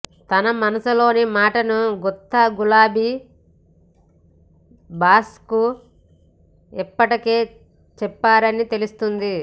తన మనసులోని మాటను గుత్తా గులాబీ బాస్కు ఇప్పటికే చెప్పారని తెలుస్తోంది